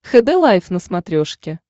хд лайф на смотрешке